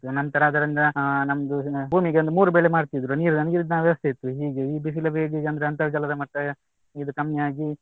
ನಂತರ ಅದ್ರಿಂದ ನಮ್ದು ಭೂಮಿಗೆ ಒಂದು ಮೂರೂ ಬೆಳೆ ಮಾಡ್ತಿದ್ರು . ನೀರಿನ ನೀರಿನ ವ್ಯವಸ್ಥೆ ಇತ್ತು ಹೀಗೆ ಬಿಸಿಲು ಬೇಗೆಗೆ ಅಂದ್ರೆ ಅಂತರ್ಜಾಲದ ಮಟ್ಟ ಇದು ಕಮ್ಮಿ ಆಗಿ